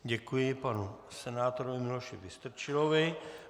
Děkuji panu senátorovi Miloši Vystrčilovi.